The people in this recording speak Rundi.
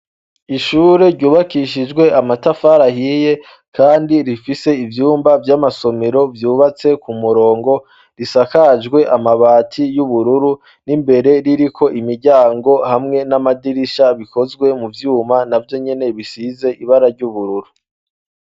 Ishure ryubakishijwe amatafari ahiye, kandi rifise ivyumba vy'amasomero vyubatse ku murongo, risakajwe amabati y'ubururu, n'imbere ririko imiryango hamwe n'amadirisha bikozwe mu vyuma na vyo nyene bisize ibara ry'ubururu.